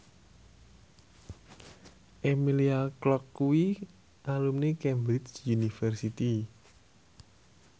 Emilia Clarke kuwi alumni Cambridge University